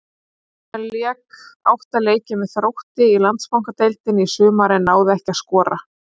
Hann lék átta leiki með Þrótti í Landsbankadeildinni í sumar en náði ekki að skora.